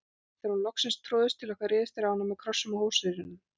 Þegar hún hafði loksins troðist til okkar réðust þeir á hana með kossum og hrósyrðum.